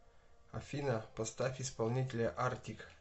афина поставь исполнителя артик